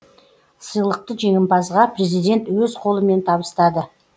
сыйлықты жеңімпазға президент өз қолымен табыстады